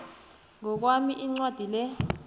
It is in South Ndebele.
ngokwami incwadi le